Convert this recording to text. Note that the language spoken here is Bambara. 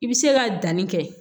I bɛ se ka danni kɛ